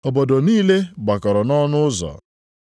Obodo ahụ niile gbakọrọ nʼọnụ ụzọ.